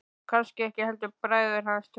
Og kannski ekki heldur bræður hans tveir.